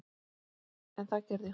En það gerði hún.